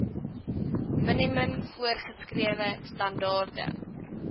minimum voorgeskrewe standaarde